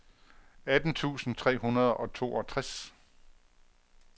atten tusind tre hundrede og toogtres